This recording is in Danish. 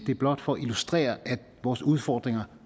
det er blot for at illustrere at vores udfordringer